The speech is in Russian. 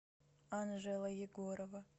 анжела егорова